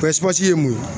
ye mun ye